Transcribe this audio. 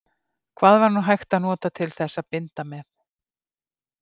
Hvað var nú hægt að nota til þess að binda með?